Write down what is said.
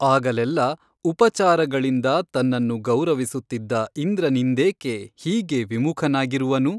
ಆಗಲೆಲ್ಲ ಉಪಚಾರಗಳಿಂದ ತನ್ನನ್ನು ಗೌರವಿಸುತ್ತಿದ್ದ ಇಂದ್ರನಿಂದೇಕೆ ಹೀಗೆ ವಿಮುಖನಾಗಿರುವನು?